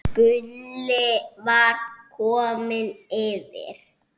Gulli var kominn yfir.